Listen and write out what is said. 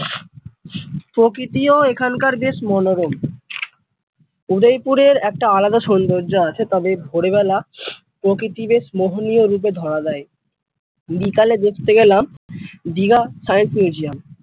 প্রকৃতিও এখনকার বেশ মনোরম উদয় পুরের একটা আলাদা সম্পর্ক আছে তবে ভোরবেলা প্রকৃতি বেশ মোহনীয় রূপে ধরা দেয় বিকেলে দেখতে গেলাম দীঘা science museum ।